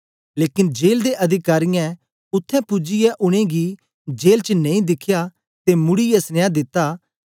लेकन जेल दे अधिकारियें उत्थें पूजियै उनेंगी जेल च नेई दिखया ते मुड़ीयै सनिया दिता